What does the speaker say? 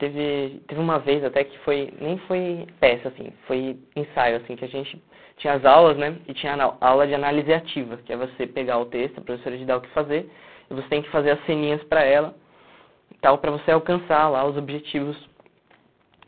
Teve, teve uma vez até que foi, nem foi peça, assim, foi ensaio, assim, que a gente tinha as aulas, né, e tinha ah a aula de análise ativa, que é você pegar o texto, a professora te dá o que fazer, e você tem que fazer as ceninhas para ela, tal, para você alcançar lá os objetivos